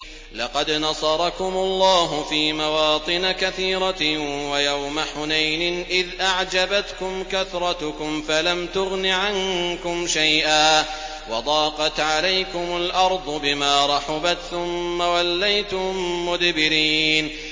لَقَدْ نَصَرَكُمُ اللَّهُ فِي مَوَاطِنَ كَثِيرَةٍ ۙ وَيَوْمَ حُنَيْنٍ ۙ إِذْ أَعْجَبَتْكُمْ كَثْرَتُكُمْ فَلَمْ تُغْنِ عَنكُمْ شَيْئًا وَضَاقَتْ عَلَيْكُمُ الْأَرْضُ بِمَا رَحُبَتْ ثُمَّ وَلَّيْتُم مُّدْبِرِينَ